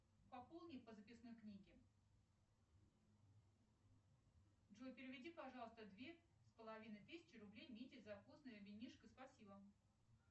пополни по записной книге джой переведи пожалуйста две с половиной тысячи рублей мите за вкусное винишко спасибо